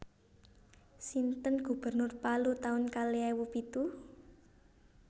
Sinten gubernur Palu taun kalih ewu pitu